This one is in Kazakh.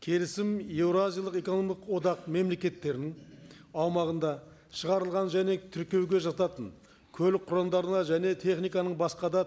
келісім еуразиялық экономикалық одақ мемлекеттірінің аумағында шығарылған және тіркеуге жататын көлік кұралдарына және техниканың басқа да